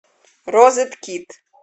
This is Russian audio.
розет кит